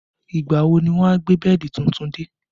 Ìgbà wo ni wọn á gbé bẹ́ẹ̀dì tuntun dé?